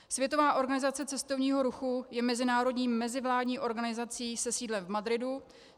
Světová organizace cestovního ruchu je mezinárodní mezivládní organizací se sídlem v Madridu.